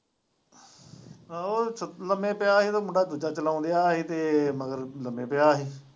ਆਹੋ ਲੰਮੇ ਪਿਆ ਹੀ ਤੇ ਮੁੰਡਾ ਦੂਜਾ ਚਲਾਉਣ ਦਿਆ ਹੀ ਤੇ ਇਹ ਮਗਰ ਲੰਮੇ ਪਿਆ ਹੀ।